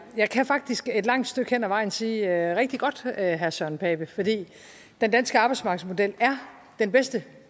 jeg kan faktisk et langt stykke hen ad vejen sige det er rigtig godt herre søren pape for den danske arbejdsmarkedsmodel er den bedste